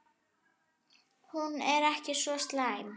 Hún er ekki svo slæm.